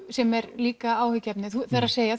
sem er líka áhyggjuefni það er